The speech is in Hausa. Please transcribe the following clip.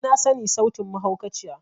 Ni na sani sautin mahaukaciya.